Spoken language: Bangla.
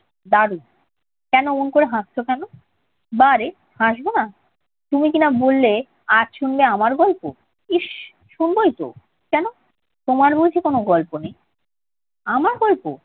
দারুণ! কেন অমন করে হাসছ কেন? বারে, হাসব না? তুমি কি না বললে, আজ শুনবে আমার গল্প? ইস্ শুনবোই তো। কেন, তোমার বুঝি কোনো গল্প নেই? আমার গল্প!